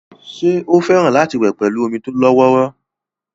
ṣé ó fẹ́ràn láti wẹ̀ pẹ̀lú omi tó lọ́wọ́rọ́